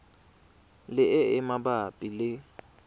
le e e mabapi le